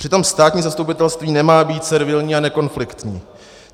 Přitom státní zastupitelství nemá být servilní a nekonfliktní.